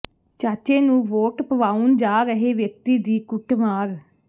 ਚਾਚੇ ਨੂੰ ਵੋਟ ਪਵਾਉਣ ਜਾ ਰਹੇ ਵਿਅਕਤੀ ਦੀ ਕੁੱਟਮਾਰ